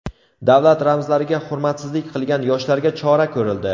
Davlat ramzlariga hurmatsizlik qilgan yoshlarga chora ko‘rildi.